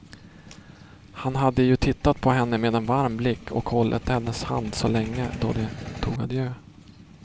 Han hade ju tittat på henne med en varm blick och hållit hennes hand så länge då de tog adjö.